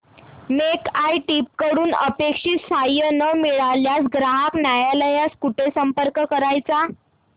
make my trip कडून अपेक्षित सहाय्य न मिळाल्यास ग्राहक न्यायालयास कुठे संपर्क करायचा